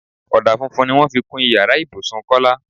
Ọdà funfun ni wọ́n fi kun ìyára ibùsùn Kọ́lá.